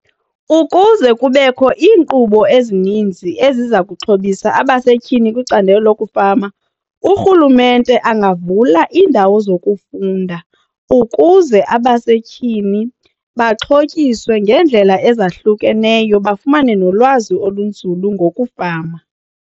Kkuze kubekho iinkqubo ezininzi eziza kuxhobisa abasetyhini kwicandelo lokufama urhulumente angavula iindawo zokufunda ukuze abasetyhini baxhotyiswe ngeendlela ezahlukeneyo bafumane nolwazi olunzulu ngokufama.